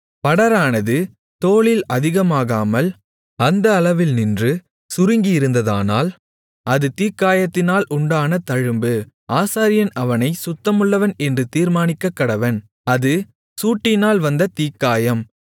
படரானது தோலில் அதிகமாகாமல் அந்த அளவில் நின்று சுருங்கியிருந்ததானால் அது தீக்காயத்தினால் உண்டான தழும்பு ஆசாரியன் அவனைச் சுத்தமுள்ளவன் என்று தீர்மானிக்கக்கடவன் அது சூட்டினால் வந்த தீக்காயம்